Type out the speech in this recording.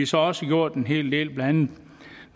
så også gjort en hel del